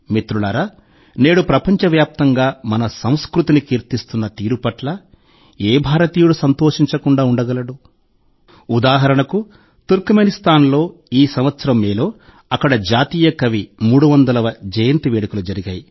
మిత్రులారా నేడు ప్రపంచ వ్యాప్తంగా మన సంస్కృతిని కీర్తిస్తున్న తీరు పట్ల ఏ భారతీయుడు సంతోషించకుండా ఉండగలడు ఉదాహరణకు తుర్క్మెనిస్తాన్లో ఈ సంవత్సరం మేలో అక్కడి జాతీయ కవి 300వ జయంతి వేడుకలు జరిగాయి